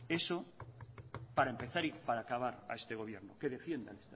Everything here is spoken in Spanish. eso para empezar y para acabar a este gobierno que defienda el